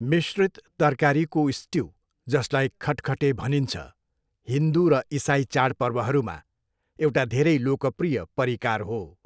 मिश्रित तरकारीको स्ट्यु, जसलाई खटखटे भनिन्छ, हिन्दू र इसाई चाडपर्वहरूमा एउटा धेरै लोकप्रिय परिकार हो।